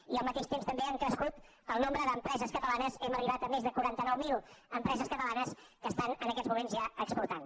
i al mateix temps també ha crescut el nombre d’empreses catalanes hem arribat a més de quaranta nou mil empreses catalanes que estan en aquests moments ja exportant